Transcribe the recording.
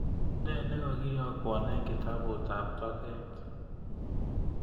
Ne nekagiyokwon eng kitabutab toget